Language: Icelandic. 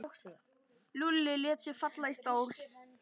Lúlli lét sig falla í stól.